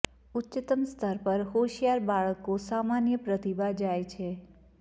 ઉચ્ચતમ સ્તર પર હોશિયાર બાળકો સામાન્ય પ્રતિભા જાય છે